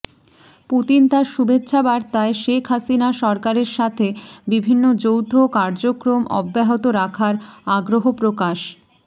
Putin তার শুভেচ্ছা বার্তায় শেখ হাসিনার সরকারের সাথে বিভিন্ন যৌথ কার্যক্রম অব্যাহত রাখার আগ্রহ প্রকাশ